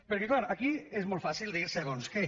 perquè clar aquí és molt fàcil dir segons què